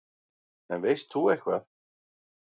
En veist þú eitthvað?